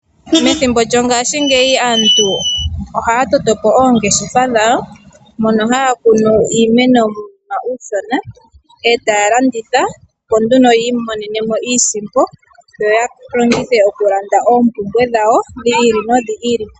Methimbo lyongashingeyi aantu ohaya toto po oongeshefa dhawo mono haya kunu iimeno yawo muunima uushona e taya landitha, opo nduno yi imonene mo iisimpi, opo ya longithe okulanda oompumbwe dhawo dhi ili nodhi ili.